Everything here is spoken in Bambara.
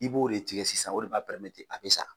I b'o de tigɛ sisan o de b'a a bɛ sa.